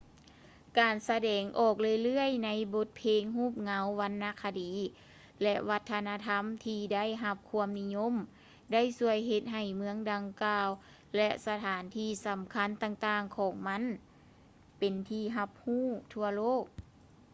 ການສະແດງອອກເລື້ອຍໆໃນ ບົດເພງ ຮູບເງົາ ວັນນະຄະດີ ແລະ ວັດທະນະທຳທີ່ໄດ້ຮັບຄວາມນິຍົມ ໄດ້ຊ່ວຍເຮັດໃຫ້ເມືອງດັ່ງກ່າວ ແລະ ສະຖານທີ່ສໍາຄັນຕ່າງໆຂອງມັນ ເປັນທີ່ຮັບຮູ້ທົ່ວໂລກ